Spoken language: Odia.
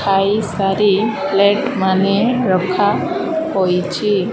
ଖାଇ ସାରି ପ୍ଲେଟ୍ ମାନେ ରଖା ହେଉଚି ।